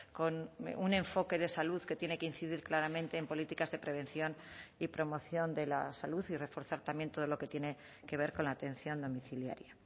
con un enfoque de salud que tiene que incidir claramente en políticas de prevención y promoción de la salud y reforzar también todo lo que tiene que ver con la atención domiciliaria